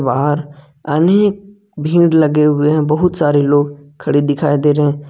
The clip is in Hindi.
बाहर आने भीड़ लगे हुए हैं बहुत सारे लोग खड़े दिखाई दे रहे--